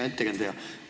Hea ettekandja!